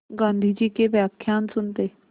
गाँधी जी के व्याख्यान सुनते